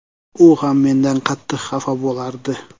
U ham mendan qattiq xafa bo‘lardi.